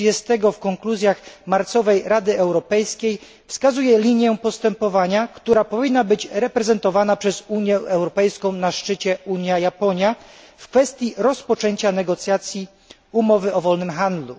30 w konkluzjach marcowej Rady Europejskiej wskazuje linię postępowania, która powinna być reprezentowana przez Unię Europejską na szczycie Unia Japonia w kwestii rozpoczęcia negocjacji umowy o wolnym handlu.